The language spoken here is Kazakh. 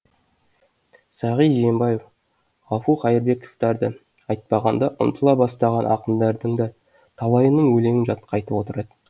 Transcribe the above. сағи жиенбаев ғафу қайырбековтарды айтпағанда ұмытыла бастаған ақындардың да талайының өлеңін жатқа айтып отырады